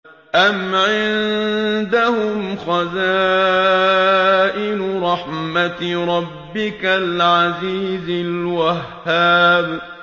أَمْ عِندَهُمْ خَزَائِنُ رَحْمَةِ رَبِّكَ الْعَزِيزِ الْوَهَّابِ